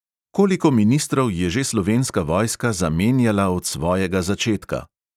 Koliko ministrov je že slovenska vojska zamenjala od svojega začetka?